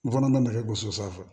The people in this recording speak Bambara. N fana makɛ gosi sanfɛ